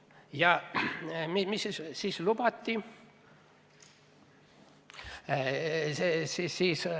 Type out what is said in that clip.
Ja mida siis lubati?